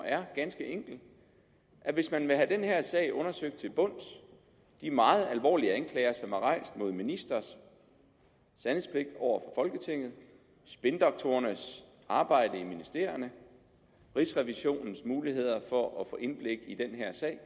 er ganske enkelt at hvis man vil have den her sag undersøgt til bunds de meget alvorlige anklager som er rejst mod ministres sandhedspligt over for folketinget spindoktorernes arbejde i ministerierne rigsrevisionens muligheder for at få indblik i den her sag